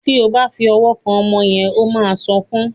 Tí o bá fí òwò kán ọmọ yén o má sọkún.